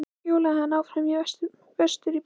Síðan hjólaði hann áfram vestur í bæ.